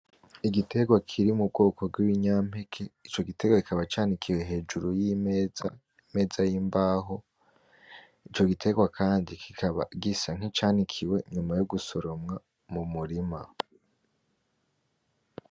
Igiterwa kiri mu bwoko bw’ibinyampeke ico giterwa kikaba canikiwe hejuru y’imeza imeza y’imbaho ico giterwa kandi kikaba gisa nk’icanikiwe nyuma yo gusoromwa mu murima.